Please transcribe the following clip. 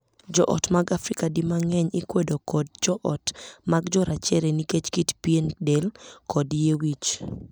Joot mag Afrika di mang'eny ikwedo kod joot mag jorachere nikech kit pien del kod yie wich.